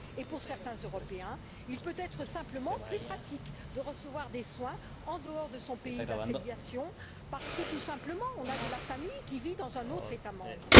Enfin, pour certains Européens, il peut être simplement plus pratique de recevoir des soins en dehors de son pays d'affiliation parce que, tout simplement, on a de la famille qui vit dans un autre État membre.